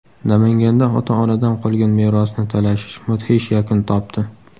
Namanganda ota-onadan qolgan merosni talashish mudhish yakun topdi.